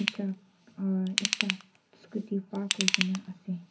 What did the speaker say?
truck aro ekta scooty park kuri ke na ase.